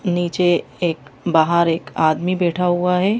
नीचे एक बाहर एक आदमी बैठा हुआ है।